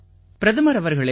பிரதமர் அவர்களே